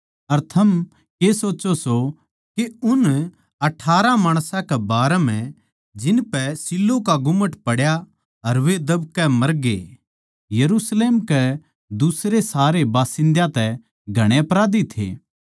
अर थम के सोच्चों सों के उन अठारह माणसां के बारें म्ह जिनपै शीलोह का गुम्मट पड्या अर वे दब कै मरगे यरुशलेम के दुसरे सारे बासिन्दयां तै घणे अपराधी थे